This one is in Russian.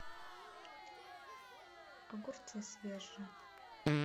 огурцы свежие